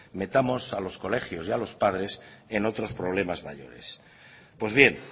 metamos a los colegios y a los padres en otros problemas mayores pues bien